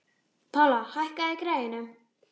Pála, hækkaðu í græjunum.